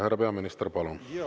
Härra peaminister, palun!